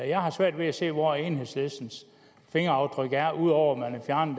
jeg har svært ved at se hvor enhedslistens fingeraftryk er ud over